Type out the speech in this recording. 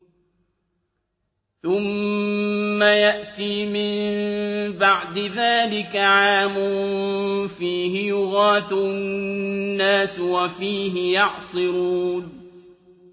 ثُمَّ يَأْتِي مِن بَعْدِ ذَٰلِكَ عَامٌ فِيهِ يُغَاثُ النَّاسُ وَفِيهِ يَعْصِرُونَ